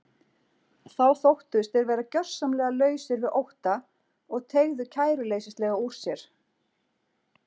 Þá þóttust þeir vera gjörsamlega lausir við ótta og teygðu kæruleysislega úr sér.